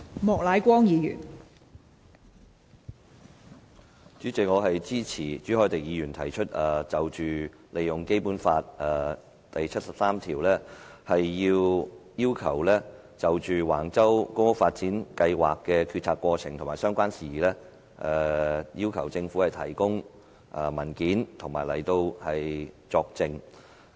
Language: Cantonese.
代理主席，我支持朱凱廸議員提出根據《基本法》第七十三條動議的議案，就橫洲公共房屋發展計劃的決策過程和相關事宜要求政府提供文件及到立法會作證。